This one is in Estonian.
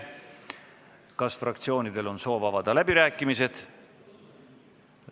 Kas fraktsioonidel on soovi avada läbirääkimisi?